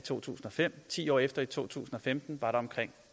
i to tusind og fem ti år efter i to tusind og femten var der omkring